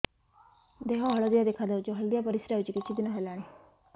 ଦେହ ହଳଦିଆ ଦେଖାଯାଉଛି ହଳଦିଆ ପରିଶ୍ରା ହେଉଛି କିଛିଦିନ ହେଲାଣି